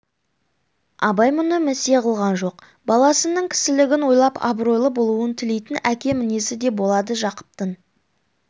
абай мұны місе қылған жоқ баласының кісілігін ойлап абыройлы болуын тілейтін әке мінезі де болады жақыптың